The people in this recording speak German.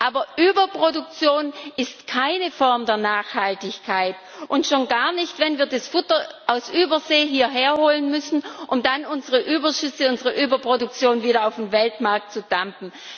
Aber Überproduktion ist keine Form der Nachhaltigkeit und schon gar nicht, wenn wir das Futter aus Übersee hierher holen müssen, um dann unsere Überschüsse, unsere Überproduktion wieder auf dem Weltmarkt zu dumpen.